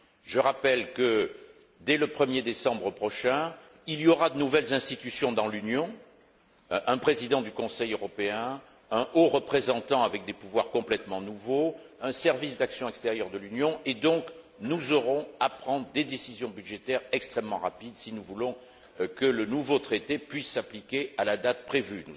Je rappelle que, dès le 1 er décembre prochain, il y aura de nouvelles institutions dans l'Union un président du Conseil européen, un haut représentant avec des pouvoirs complètement nouveaux, un service d'action extérieure de l'Union, et nous aurons donc à prendre des décisions budgétaires extrêmement rapides si nous voulons que le nouveau Traité puisse s'appliquer à la date prévue.